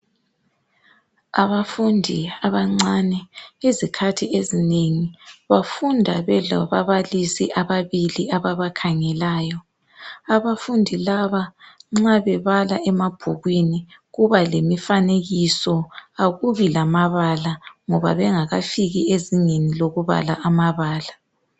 Abafundi abancane izikhathi ezinengi bafunda belababalisi ababili ababakhangeleyo. Abafundi laba nxa bebala emabhukwini kuba lemifanekiso akubi lamabala ngoba bengakafiki ezingeni lokubala amabala.